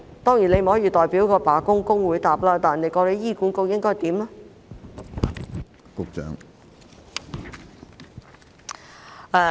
當然，你不能代表罷工的工會回答，但局長覺得醫管局應如何處理呢？